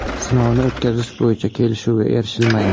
Sinovni o‘tkazish bo‘yicha kelishuvga erishilmagan.